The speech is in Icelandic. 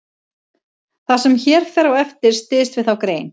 Það sem hér fer á eftir styðst við þá grein.